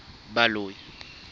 baloi